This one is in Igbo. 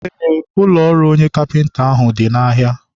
ee, ụlọ ọrụ onye kapịnta ahụ dị n'ahịa.